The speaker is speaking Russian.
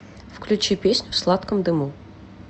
включи песню в сладком дыму